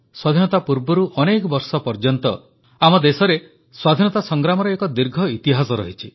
ସ୍ୱାଧୀନତା ପୂର୍ବରୁ ଅନେକ ବର୍ଷ ପର୍ଯ୍ୟନ୍ତ ଆମ ଦେଶରେ ସ୍ୱାଧୀନତା ସଂଗ୍ରାମର ଏକ ଦୀର୍ଘ ଇତିହାସ ରହିଛି